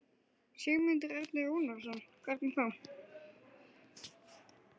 Sigmundur Ernir Rúnarsson: Hvernig þá?